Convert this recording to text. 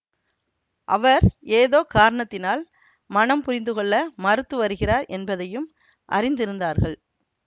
அவர் ஏதோ காரணத்தினால் மணம் புரிந்து கொள்ள மறுத்து வருகிறார் என்பதையும் அறிந்திருந்தார்கள்